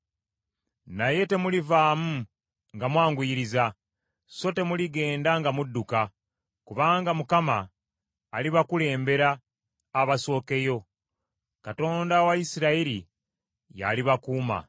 Naye temulivaamu nga mwanguyiriza so temuligenda nga mudduka; kubanga Mukama alibakulembera abasookeyo; Katonda wa Isirayiri y’alibakuuma.